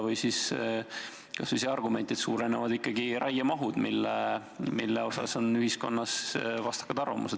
Või kas või see argument, et suurenevad ikkagi raiemahud, mille kohta on ühiskonnas vastakaid arvamusi.